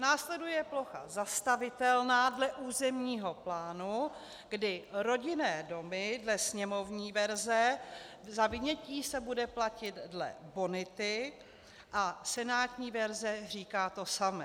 Následuje plocha zastavitelná dle územního plánu, kdy rodinné domy - dle sněmovní verze za vynětí se bude platit dle bonity a senátní verze říká to samé.